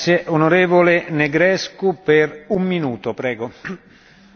În primul rând vreau să felicit raportorul pentru un buget european bine construit.